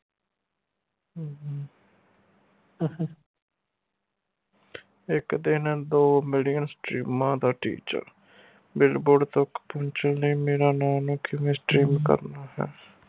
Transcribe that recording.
ਇਕ ਦਿਨ ਦੋ million ਸਟ੍ਰੀਮਾਂ ਦਾ teacher billboard ਤਕ ਪਹੁੰਚਣ ਲਈ ਮੇਰਾ ਨਾ ਨੂੰ ਕਿਵੇਂ stream ਕਰਨਾ ਹੈ